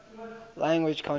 language countries